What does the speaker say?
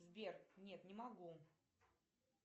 сбер нет не могу